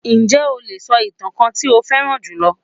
Ǹjẹ́ o lè sọ ìtàn kan tí ó fẹ́ràn jù lọ?